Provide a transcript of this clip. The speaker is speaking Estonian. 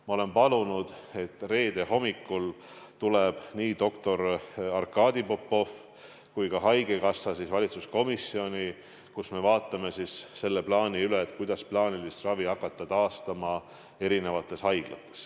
Ma olen palunud, et reede hommikul tulevad nii doktor Arkadi Popov kui ka haigekassa esindaja valitsuskomisjoni, kus me vaatame üle selle plaani, kuidas hakata haiglates plaanilist ravi taastama.